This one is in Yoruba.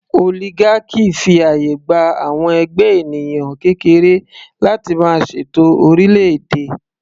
Oligarchy fi àyè gba àwọn ẹgbẹ́ ènìyàn kékeré láti máa ṣètò orílẹ̀ - èdè.